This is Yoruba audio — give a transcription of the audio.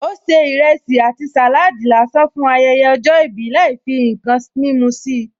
Ó se ìrẹsì àti saladi lásán fún ayẹyẹ ọjọ́ ìbí láì fi ǹkan mímú sí i